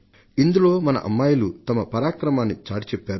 ఇందులో మన అమ్మాయిలు వారి మేథాశక్తిని చాటి చెప్పారు